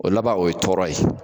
O laban o ye tɔɔrɔ ye.